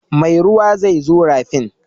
Mai ruwa zai zo rafin.